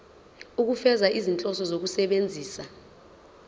ukufeza izinhloso zokusebenzisa